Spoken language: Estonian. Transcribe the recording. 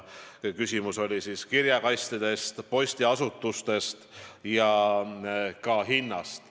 Küsimus oli kirjakastide, postiasutuste ja ka hindade kohta.